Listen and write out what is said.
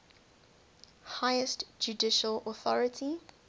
highest judicial authority